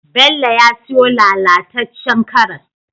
Bello ya siyo lala tacen karas